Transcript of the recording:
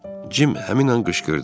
Cim həmin an qışqırdı: